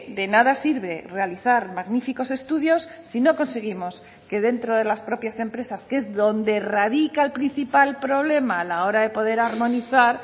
de nada sirve realizar magníficos estudios si no conseguimos que dentro de las propias empresas que es donde radica el principal problema a la hora de poder armonizar